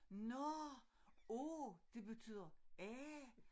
Nårh af det betyder af